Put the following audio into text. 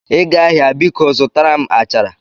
Ị gaa ahịa, biko zụtara m achara